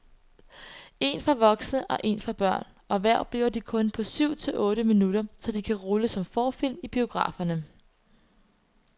Én for voksne og èn for børn, og hver bliver de kun på syv til otte minutter, så de kan rulle som forfilm i biograferne.